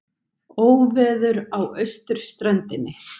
Óveður á austurströndinni